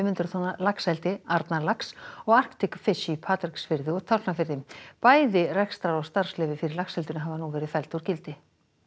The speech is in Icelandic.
hundruð tonna laxeldi Arnarlax og Arctic í Patreksfirði og Tálknafirði bæði rekstrar og starfsleyfi fyrir laxeldinu hafa nú verið felld úr gildi